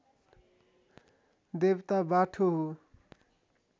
देवता बाठो हो